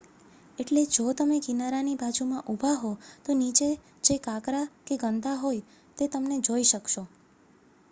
એટલે જો તમે કિનારાની બાજુમાં ઊભા હો તો નીચે જે કાંકરા કે ગંદા હોય તે તમે જોઈ શકશો